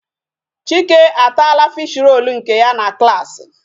Chike ataala fish-roll nke ya na klaasị.